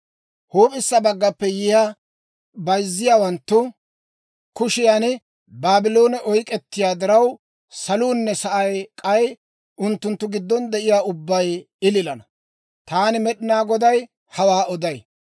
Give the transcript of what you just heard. Huup'issa baggappe yiyaa bayzziyaawanttu kushiyan Baabloone oyk'k'ettiyaa diraw, saluunne sa'ay k'ay unttunttu giddon de'iyaa ubbabay ililana. Taani Med'inaa Goday hawaa oday.